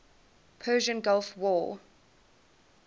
persian gulf war